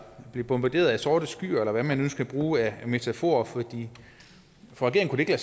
blev bombarderet af sorte skyer eller hvad man nu skal bruge af metaforer for det kunne ikke